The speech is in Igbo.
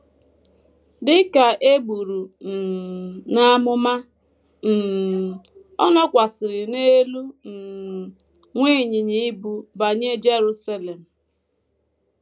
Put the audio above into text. Dị ka e buru um n’amụma, um ọ nọkwasịrị n’elu um nwa ịnyịnya ibu banye Jerusalem.